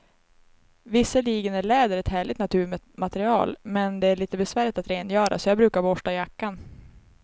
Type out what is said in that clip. Visserligen är läder ett härligt naturmaterial, men det är lite besvärligt att rengöra, så jag brukar borsta jackan.